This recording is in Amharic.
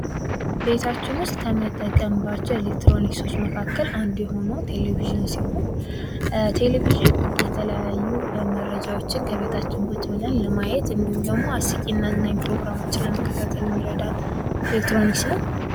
ቤታችን ውስጥ ከምንጠቀምባቸው ከኤሌክትሮኒክሶች መካከል አንዱ የሆነው ቴሌቪዥን ሲሆን ቴሌቪዥን የተለያዩ መረጃዎችን ከቤታችን ቁጭ ብለን ለማየት እንዲሁም ደግሞ አስቂኝ እና አዝናኝ ፕሮግራሞችን ለመከታተል የሚረዳ ኤሌክትሮኒክስ ነው።